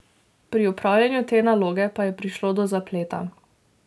Pri opravljanju te naloge pa je prišlo do zapleta.